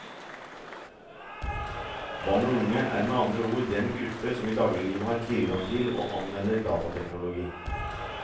Barn og unge er med andre ord den gruppe som i dagliglivet har tilgang til og anvender datateknologi.